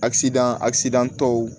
Akisidan asidan tɔw